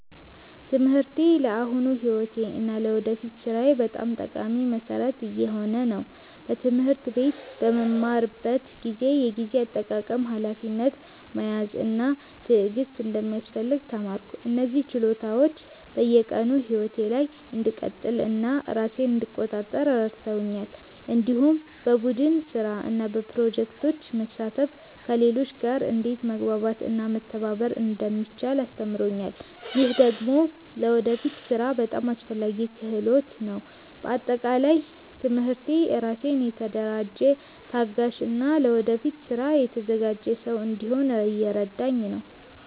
ትምህርቴ ለአሁኑ ሕይወቴ እና ለወደፊት ሥራዬ በጣም ጠቃሚ መሠረት እየሆነ ነው። በትምህርት ቤት በምማርበት ጊዜ የጊዜ አጠቃቀም፣ ሀላፊነት መያዝ እና ትዕግስት እንደሚያስፈልግ ተማርኩ። እነዚህ ችሎታዎች በየቀኑ ሕይወቴ ላይ እንድቀጥል እና ራሴን እንድቆጣጠር ረድተውኛል። እንዲሁም በቡድን ስራ እና በፕሮጀክቶች መሳተፍ ከሌሎች ጋር እንዴት መግባባት እና መተባበር እንደሚቻል አስተምሮኛል። ይህ ደግሞ ለወደፊት ሥራ በጣም አስፈላጊ ክህሎት ነው። በአጠቃላይ ትምህርቴ ራሴን የተደራጀ፣ ታጋሽ እና ለወደፊት ስራ የተዘጋጀ ሰው እንድሆን እየረዳኝ ነው።